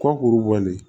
Kɔkuru bɔlen